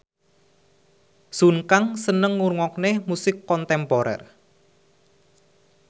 Sun Kang seneng ngrungokne musik kontemporer